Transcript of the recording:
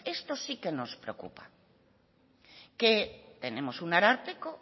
esto sí que nos preocupa que tenemos un ararteko